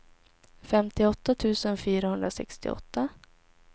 femtioåtta tusen fyrahundrasextioåtta